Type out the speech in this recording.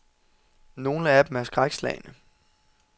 Nogle af dem er skrækslagne.